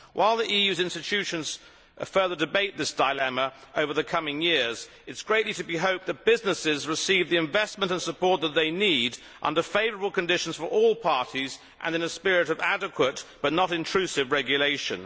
While the EU's institutions further debate this dilemma over the coming years, it is greatly to be hoped that businesses will receive the investment and support they need under favourable conditions for all parties and in a spirit of adequate but not intrusive regulation.